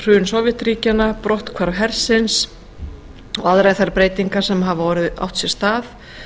hrun sovétríkjanna brotthvarf hersins og aðrar þær breytingar sem hafa átt sér stað